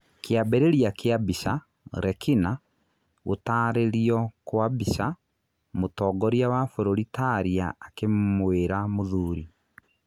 Kĩambĩrĩria kĩa mbica, Rekina. Gũtarĩrio kwa mbica, mũtongoria wa bũrũri Taria akĩmwira mũthuri.